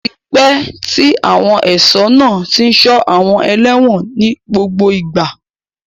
Ó ti pẹ́ tí àwọn ẹ̀ṣọ́ náà tí ń ṣọ́ àwọn ẹlẹ́wọ̀n ní gbogbo ìgbà.